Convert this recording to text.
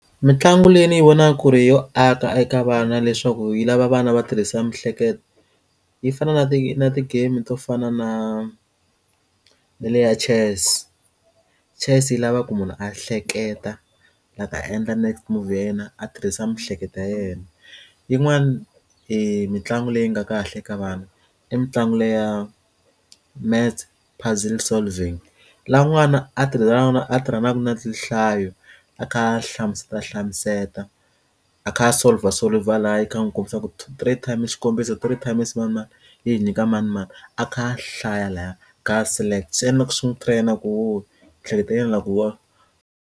Mintlangu leyi ndz yi vonaka ku ri yo aka eka vana leswaku yi lava vana va tirhisa miehleketo yi fana na ti na ti game to fana na na le ya chess chess yi lava ku munhu a hleketa la ta endla next move ya yena a tirhisa miehleketo ya yena yin'wana hi mitlangu leyi nga kahle ka vana i mitlangu leyi ya maths puzzle solving laha n'wana a tirhisa naswona a tirhanaka na tinhlayo a kha hlamusela a hlamusetiwa a kha a solver solver a kha n'wi kombisa ku two three times xikombiso three times manimani yi hi nyika manimani a kha hlaya laya swi endla swi n'wi train na ku hleketelelana ku wa.